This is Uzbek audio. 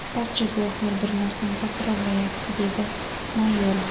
Barcha guvohlar bir narsani takrorlayapti”, dedi Mayorov.